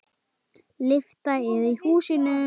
Lyfta er í húsinu.